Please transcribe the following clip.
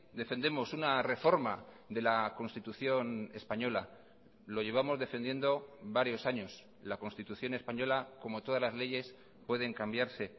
defendemos una reforma de la constitución española lo llevamos defendiendo varios años la constitución española como todas las leyes pueden cambiarse